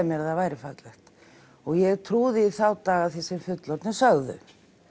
mér að það væri fallegt og ég trúði í þá daga því sem fullorðnir sögðu